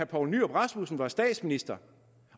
poul nyrup rasmussen var statsminister